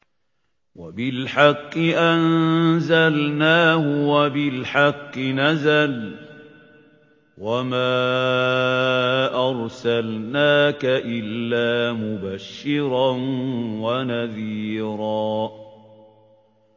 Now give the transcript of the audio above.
وَبِالْحَقِّ أَنزَلْنَاهُ وَبِالْحَقِّ نَزَلَ ۗ وَمَا أَرْسَلْنَاكَ إِلَّا مُبَشِّرًا وَنَذِيرًا